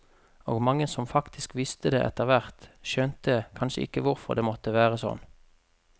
Og mange som faktisk visste det etterhvert, skjønte kanskje ikke hvorfor det måtte være sånn.